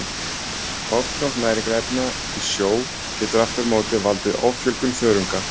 Ofgnótt næringarefna í sjó getur aftur á móti valdið offjölgun þörunga.